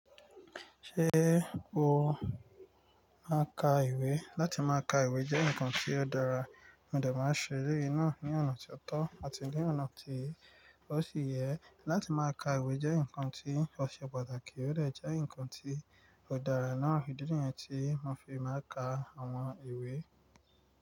Ṣé o máa ń ka ìwé? Látí máa ka ìwé jẹ́ ǹkan tí ó dára, mo dà máa ń ṣe eré náà ní ọ̀nà tí ó tọ́ àti ní ọ̀nà tí ó sì yẹ. Látí máa ka ìwé jẹ́ ǹkan tí ó ṣe pàtàkì, ó dà jẹ́ ǹkan tí ó dára náà. Idí yẹn tí mo fi máa ka àwọn ìwé.